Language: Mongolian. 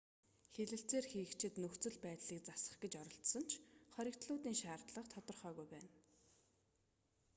хэлэлцээр хийгчид нөхцөл байдлыг засах гэж оролдсон ч хоригдлуудын шаардлага тодорхойгүй байна